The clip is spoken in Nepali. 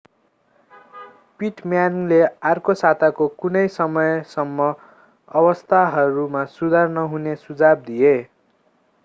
पिटम्यानले अर्को साताको कुनै समयसम्म अवस्थाहरूमा सुधार नहुने सुझाव दिए